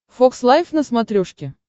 фокс лайв на смотрешке